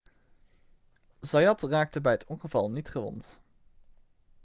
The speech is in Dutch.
zayat raakte bij het ongeval niet gewond